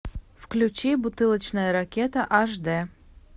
включи бутылочная ракета аш дэ